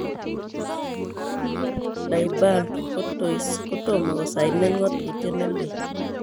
Thibault Courtois kotomo kosainen ngotutyet neleel,